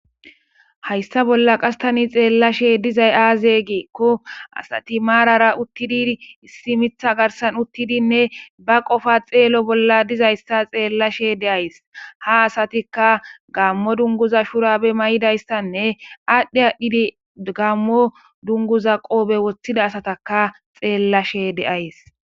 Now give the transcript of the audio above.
Haysa bolla qase tani xelashe dizaysi aaze giikon , issi Mitha garsan utidinne ba qopa xeelo bolla dizaysa xeelashe de'aysi ha asatika gaamo dunguza shurabe mayidaysanne adhi adhid gaamo dunguza qobe wothida asataka xeelashe de'aysi